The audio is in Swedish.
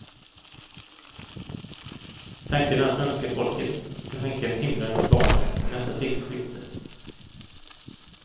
Tanken är att svenska folket ska skänka en timlön till barnen i nästa sekelskifte.